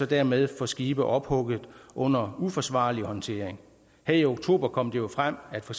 dermed få skibe ophugget under uforsvarlige forhold og håndtering her i oktober kom det jo frem at for